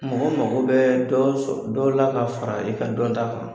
Mɔgɔ mago bɛ dɔ sɔ dɔ la ka fara i ka dɔn ta kan.